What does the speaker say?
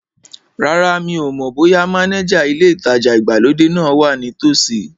Rárá, mi ò mọ̀ bóyá mánéjà ilé ìtajà ìgbàlódé náà wa ní tòsí